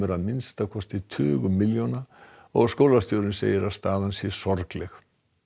að minnsta kosti tugum milljóna og skólastjórinn segir að staðan sé sorgleg